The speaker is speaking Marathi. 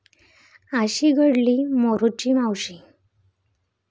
अशी घडली 'मोरूची मावशी'